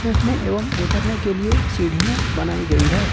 चढ़ने एवं उतरने के लिए सीढ़ियां बनाई गई है।